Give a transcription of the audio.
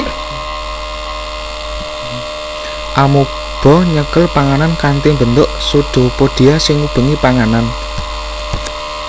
Amoeba nyekel panganan kanthi mbentuk pseudopodia sing ngubengi panganan